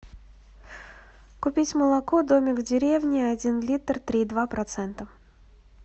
купить молоко домик в деревне один литр три и два процента